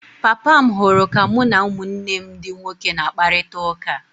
Papa m hụrụ ka mụ na ụmụnne ndi nwoke na-akparịta ụka.